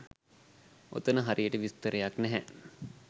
ඔතන හරියට විස්තරයක් නැහැ